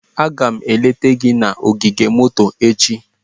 Aga m eleta gị na ogige moto echi.